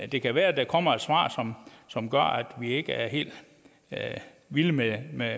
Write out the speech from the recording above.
det kan være at der kommer et svar som gør at vi ikke er helt vilde med med